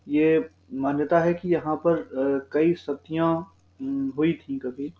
ये मान्यता है कि यहाँ पर अ कई सतियाँ हुई थीं कभी।